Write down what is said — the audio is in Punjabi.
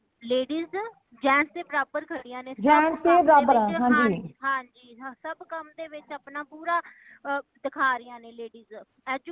ladies ,gents ਦੇ ਬਰਾਬਰ ਖੜੀਆਂ ਨੇ ਸਬ ਕਾਮ ਦੇ ਵਿੱਚ ਹਾਂਜੀ ਹਾਂਜੀ ਸਬ ਕਾਮ ਦੇ ਵਿੱਚ ਆਪਣਾ ਪੂਰਾ ਦੇਖਾ ਰਹੀਆਂ ਨੇ ladies educated